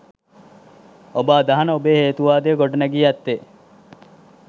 ඔබ අදහන ඔබේ හේතුවාදය ගොඩ නැගී ඇත්තේ?